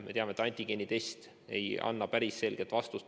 Me teame, et antigeenitest ei anna päris selget vastust.